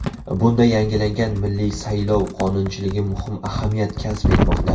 Bunda yangilangan milliy saylov qonunchiligi muhim ahamiyat kasb etmoqda.